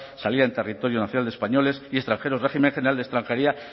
salida en territorio nacional de españoles y extranjeros régimen general de extranjería